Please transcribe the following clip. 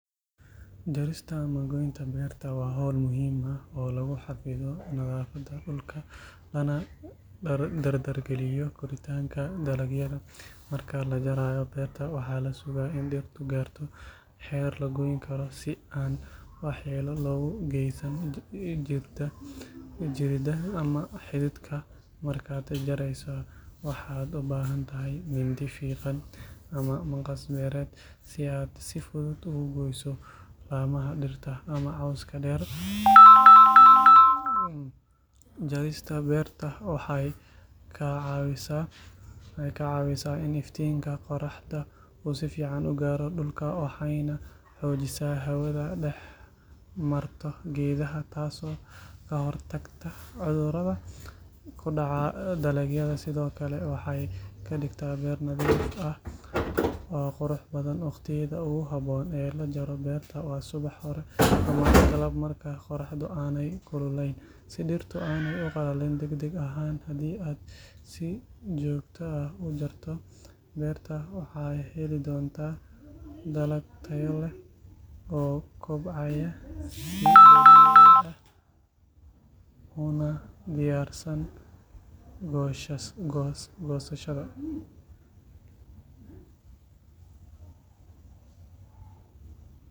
Jarista ama goynta beerta waa hawl muhiim ah oo lagu xafido nadaafadda dhulka lana dardargeliyo koritaanka dalagyada marka la jarayo beerta waxaa la sugaa in dhirtu gaarto heer la goyn karo si aan waxyeello loogu geysan jirida ama xididka markaad jarayso waxaad u baahan tahay mindi fiiqan ama maqas beereed si aad si fudud ugu goyso laamaha dhirta ama cawska dheer jarista beerta waxay kaa caawisaa in iftiinka qorraxda uu si fiican u gaaro dhulka waxayna xoojisaa hawada dhex marto geedaha taasoo ka hortagta cudurrada ku dhaca dalagyada sidoo kale waxay ka dhigtaa beer nadiif ah oo qurux badan waqtiyada ugu habboon ee la jaro beerta waa subax hore ama galab marka qorraxdu aanay kululayn si dhirtu aanay u qallalin degdeg ahayn hadii aad si joogto ah u jarto beerta waxaad heli doontaa dalag tayo leh oo kobcaya si dabiici ah una diyaarsan goosashada.